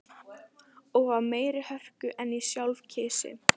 Og af meiri hörku en ég sjálf kysi.